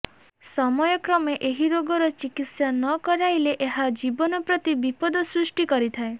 ସମୟକ୍ରମେ ଏହି ରୋଗର ଚିକିତ୍ସା ନ କରାଇଲେ ଏହା ଜୀବନ ପ୍ରତି ବିପଦ ସୃଷ୍ଟି କରିଥାଏ